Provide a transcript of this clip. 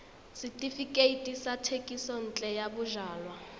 setefikeiti sa thekisontle ya bojalwa